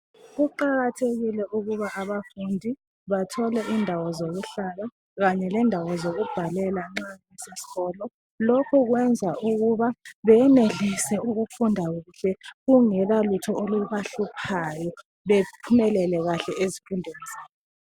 Kuqakathekile ukuba abafundi bathole indawo zokuhlala kanye lendawo zokubhalela nxa beseskolo. Lokhu kwenza beyenelise ukufunda kuhle kungela lutho olubahluphayo. Bephumele kahle ezifundweni zabo.